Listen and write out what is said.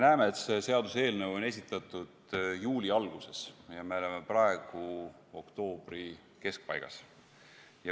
See seaduseelnõu on esitatud juuli alguses ja praegu me oleme oktoobri keskpaigas.